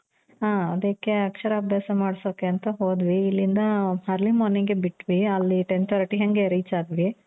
ಹ ಅದಿಕ್ಕೆ ಅಕ್ಷರ ಅಭ್ಯಾಸ ಮಾಡ್ಸೋಕೆ ಅಂತ ಹೋದ್ವಿ ಇಲ್ಲಿಂದ early morning ಗೆ ಬಿಟ್ವಿ ಅಲ್ಲಿ ten thirty ಹಂಗೆ reach ಆದ್ವಿ .